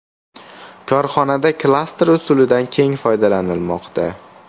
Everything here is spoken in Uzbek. Korxonada klaster usulidan keng foydalanilmoqda.